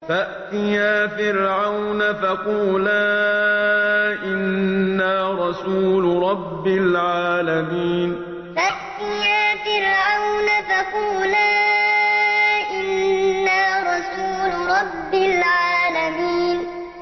فَأْتِيَا فِرْعَوْنَ فَقُولَا إِنَّا رَسُولُ رَبِّ الْعَالَمِينَ فَأْتِيَا فِرْعَوْنَ فَقُولَا إِنَّا رَسُولُ رَبِّ الْعَالَمِينَ